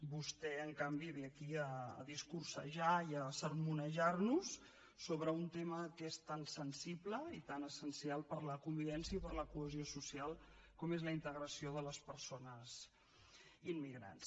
vostè en canvi ve aquí a discursejar i a sermonejarnos sobre un tema que és tan sensible i tan essencial per a la convivència i per a la cohesió social com és la integració de les persones immigrants